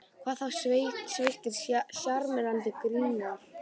Hvað þá sveittir og sjarmerandi grínarar.